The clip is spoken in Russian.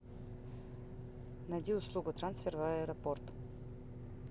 найди услугу трансфер в аэропорт